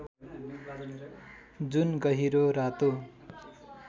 जुन गहिरो रातो